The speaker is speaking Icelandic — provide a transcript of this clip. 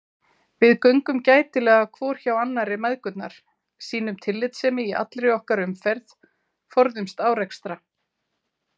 Við göngum gætilega hvor hjá annarri mæðgurnar, sýnum tillitssemi í allri okkar umferð, forðumst árekstra.